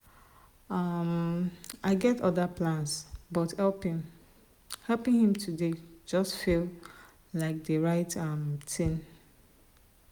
um i get other plans but helping helping him today just feel like the right um thing.